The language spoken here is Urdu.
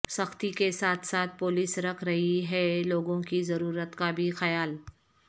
سختی کے ساتھ ساتھ پولس رکھ رہی ہے لوگوں کی ضرورت کا بھی خیال